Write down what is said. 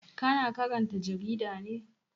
Ka na karanta jarida ne?